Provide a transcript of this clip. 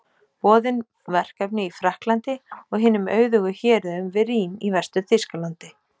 Boðin verkefni í Frakklandi og hinum auðugu héruðum við Rín í Vestur-Þýskalandi.